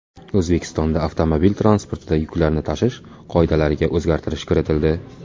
O‘zbekistonda avtomobil transportida yuklarni tashish qoidalariga o‘zgartirish kiritildi.